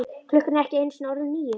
Klukkan er ekki einu sinni orðin níu.